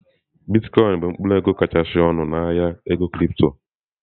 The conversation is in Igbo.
Bitkoinsị bụ mkpụrụ ego kachasị ọnụ na ahịa ego kịrịpto.